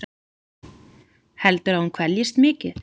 Heldurðu að hún kveljist mikið?